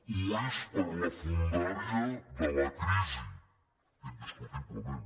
ho és per la fondària de la crisi indiscutiblement